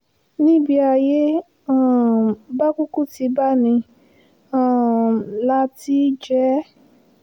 nibi ayé um bá kúkú tí bá ní um là á tì í jẹ ẹ́